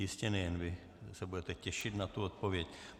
Jistě nejen vy se budete těšit na tu odpověď.